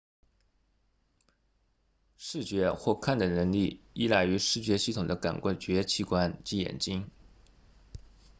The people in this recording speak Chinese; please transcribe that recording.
视觉或看的能力依赖于视觉系统的感觉器官即眼睛